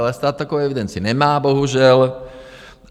Ale stát takovou evidenci nemá bohužel.